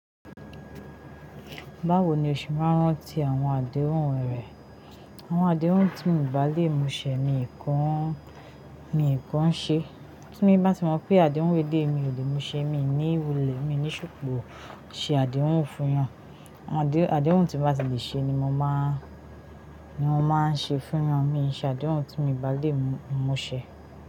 Báwo ni o ṣe máa ń rán ti àwọn àdéhùn rẹ̀? Àwọn àdéhùn tí mio bà lè mú ṣẹ min ki ń ṣe. Tí mo bá ti mọ̀ pé àdéhùn elei mi ò lè mú ṣẹ, mi ní wulẹ̀, mi ní ṣòpò ṣe àdéhùn fún wọn. Àdéhùn tí mo bá sì lè ṣe ni mo máa ń ṣe fún wọn, mi ò ṣe àdéhùn tí mio bà lè mú ṣẹ.